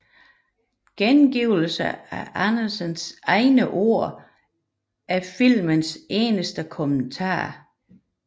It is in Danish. Gengivelsen af Andersens egne ord er filmens eneste kommentar